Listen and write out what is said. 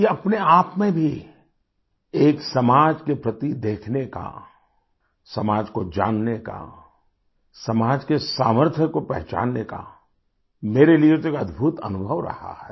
ये अपने आप में भी एक समाज के प्रति देखने का समाज को जानने का समाज के सामर्थ्य को पहचानने का मेरे लिए तो एक अद्भुत अनुभव रहा है